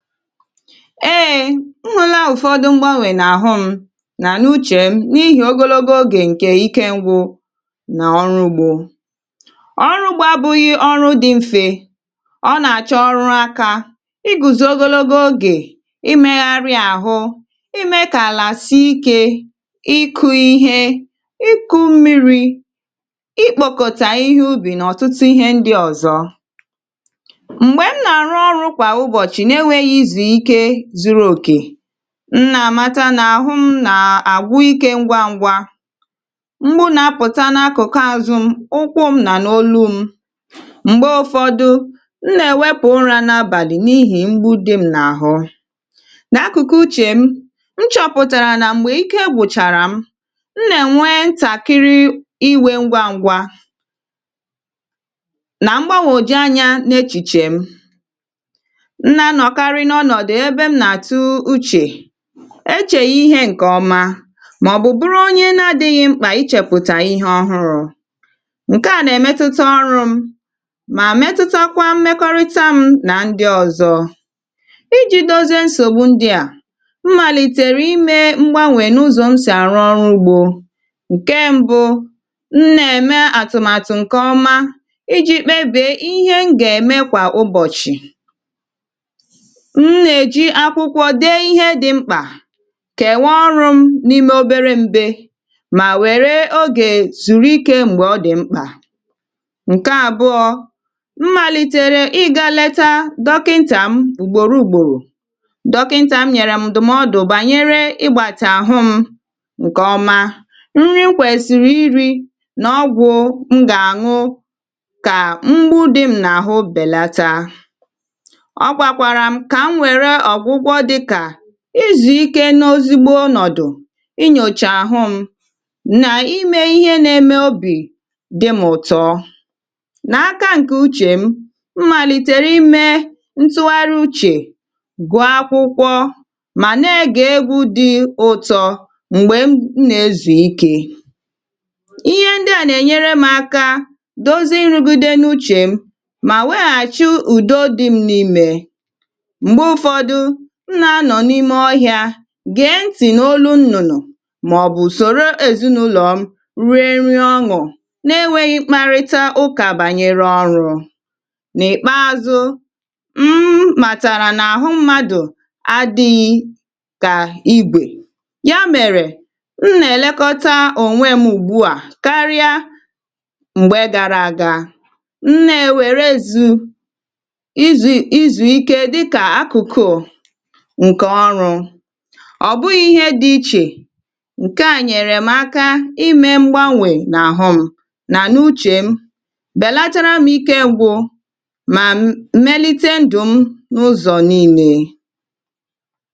ee! M hụla ụ̀fọdụ mgbanwè nà àhụ m nà n’uchè m n’ihì ogologo ogè ǹkè ikėngwụ nà ọrụ̇ ugbȯ ọrụ̇ ugbo abụghị̇ ọrụ dị̇ mfè ọ nà àchọ ọrụ akȧ ị gụ̀zo ogologo ogè ịmegharịa àhụ ime kà àlà si ikė ịkụ̇ ihe ịku mmiri̇ ị kpòkòtà ihe ubì nà ọ̀tụtụ ihe ndi ọ̀zọ mgbe m na-arụ ọrụ kwa ụbọchị na-enweghị izu ike zuru okè m nà-àmata nà àhụ m nà-àgwụ ike ngwa ngwa m̀gbu nà-apụta n’akụ̀kụ azụ m̀, ụkwụ m nà n’òlu m m̀gbe ụ̀fọdụ m nà-èwepù ụra n’abàlị̀ n’ihì m̀gbu dị m nà-àhụ nà akụ̀kụ uchè m m chọpụ̀tàrà nà m̀gbè ike gwụchàrà m m nà-ènwe ntàkịrị iwė ngwa ngwa nà mgbagwoju anya n’echìchè m na-anọkarị n’ọnọdụ ebe m na atụgha Uche e chèghị ihe ǹkè ọma màọ̀bụ̀ bụrụ onye na-adị̇ghị̇ mkpà ịchèpụ̀tà ihe ọhụrụ̇ ǹke à nà-èmetụta ọrụ̇ m mà metụtakwa mmekọrịta m nà ndị ọ̇zọ̇ iji̇ dozie nsògbu ndị à m màlìtèrè imė mgbanwè n’ụzọ̀ m sì àrụ ọrụ̇ ugbȯ ǹke mbu̇ m nà-ème àtụ̀màtụ̀ ǹkè ọma iji̇ kpebìe ihe m gà-ème kwà ụbọ̀chì m nà ẹ̀jì akwụkwọ dee ihe dị̇ mkpà kẹ̀waa ọrụ m n’ime obere mbẹ mà wẹ̀rẹ̀ ogè zuru ike m̀gbè ọ dị̀ mkpà ǹkẹ àbụọ m màlìtèrè ịgȧ leta dọkịntà m ugboro ugboro dọkịntà m nyèrè m ndụ̀mọdụ bànyẹ̀rẹ̀ ịgbàtàhum ǹkè ọ̀ma nri m kwèsịrị iri̇ nà ọgwụ̀ m gà àñụ kà mgbu dịm nà àhụ bèlata ọgwakwaram ka m were ọgwụgwọ dị ka ịzụ̀ ikė n’ezigbo ọnọ̀dụ̀ ịnyòchà àhụ m nà imė ihe nà-eme obì dịm ụ̀tọ nà aka ǹkè uchè m màlìtèrè imė ntụgharị uchè gụọ̀ akwụkwọ mà na-egè egwu̇ dị ụtọ m̀gbè m nà-ezù ikė ihe ndị à nà-ènyere m aka dozie nrụ̇gide n’uchè m mà weghàchi ụ̀do dị m n’imè mgbe ụfọdụ m na anọ n’ime ọhịa gèe ntì n’olụ nnụnụ màọbụ̀ soro èzinụlọ̀ m rie nri ọṅụ̀ na-enwėghị mkparịta ụkà bànyere ọrụ̇ n’ìkpaȧzụ̇ mmàtàrà n’àhụ mmadụ̀ adị̇ghị kà ibè ya mèrè m nà-èlekọta ònwe m ùgbu à karịa m̀gbe gara àga m na-ewèrezù ịzu ịzu ike dị ka akụkụ nke ọrụ ọ bụghị̇ ihe dị̇ ichè ǹkè a nyèrè m aka ịmė mgbanwè nà àhụ m nà n’uchè m bèlatara m ike ngwụ̇ mà melite ndụ̀ m n’ụzọ̀ niilė